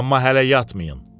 Amma hələ yatmayın.